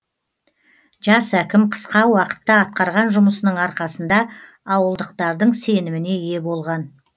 жас әкім қысқа уақытта атқарған жұмысының арқасында ауылдықтардың сеніміне ие болған